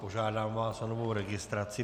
Požádám vás o novou registraci.